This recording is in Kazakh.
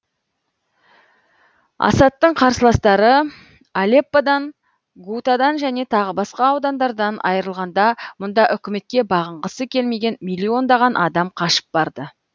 асадтың қарсыластары алепподан гутадан және тағы басқа аудандардан айрылғанда мұнда үкіметке бағынғысы келмеген миллиондаған адам қашып барды